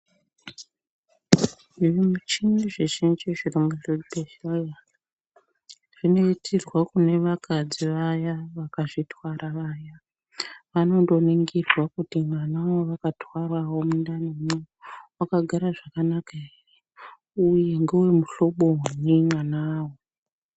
Zvimuchini zvizhinji zviri muchibhedhlera zvinoitirwa kune vakadzi vaya vakazvitwara vayavanondoningirwa kuti mwana wavakatwarawo mundanimwo wakagara zvakanaka ere uyenhewe muhlobonyi mwanawo.